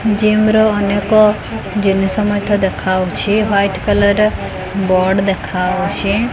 ଜିମର ଅନେକ ଜିନିଷ ମଧ୍ୟ ଦେଖାଆଉଛି ହ୍ୱାଇଟ କଲରର ବୋର୍ଡ ଦେଖାଆଉଛି।